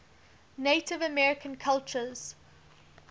native american cultures